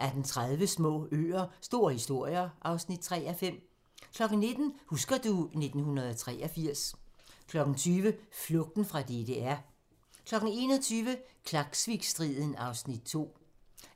18:30: Små øer – store historier (3:5) 19:00: Husker du ... 1983 20:00: Flugten fra DDR 21:00: Klaksvikstriden (Afs. 2)